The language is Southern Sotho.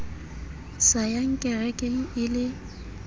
sa yang kerekeng e le